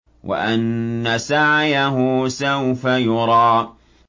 وَأَنَّ سَعْيَهُ سَوْفَ يُرَىٰ